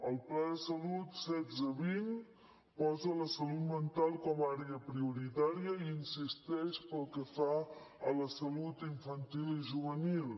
el pla de salut setze vint posa la salut mental com a àrea prioritària i hi insisteix pel que fa a la salut infantil i juvenil